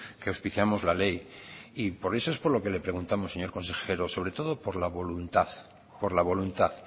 que auspiciamos la ley y por eso es por lo que le preguntamos señor consejero sobre todo por la voluntad